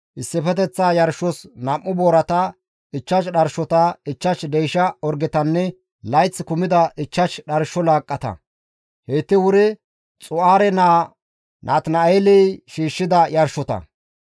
issifeteththa yarshos 2 boorata, 5 dharshota, 5 deysha orgetanne layth kumida 5 dharsho laaqqata; heyti wuri Xu7aare naa Natina7eeley shiishshida yarshota.